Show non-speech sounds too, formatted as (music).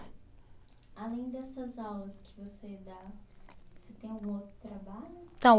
Além dessas aulas que você dá, você tem algum outro trabalho? (unintelligible)